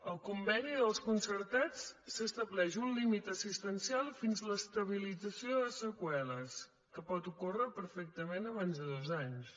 al conveni dels concertats s’estableix un límit assistencial fins a l’estabilització de les seqüeles que pot ocórrer perfectament abans de dos anys